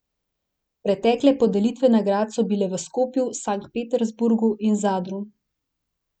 Pretekle podelitve nagrad so bile v Skopju, Sankt Peterburgu in Zadru.